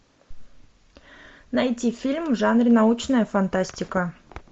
найти фильм в жанре научная фантастика